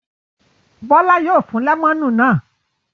Bọ́lá yóò fún lẹ́mọ́nù náà.